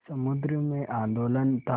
समुद्र में आंदोलन था